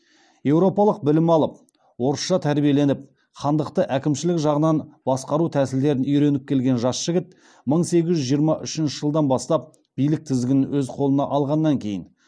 еуропалық білім алып орысша тәрбиеленіп хандықты әкімшілік жағынан басқару тәсілдерін үйреніп келген жас жігіт мың сегіз жүз жиырма үшінші жылдан бастап билік тізгінін өз қолына алғаннан кейін